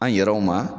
An yɛrɛw ma